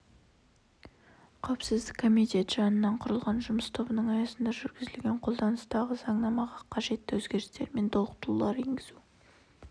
қауіпсіздік комитеті жанынан құрылған жұмыс тобының аясында жүргізілген қолданыстағы заңнамаға қажетті өзгерістер мен толықтырулар енгізу